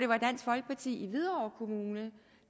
var dansk folkeparti i hvidovre kommune